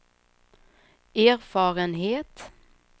erfarenhet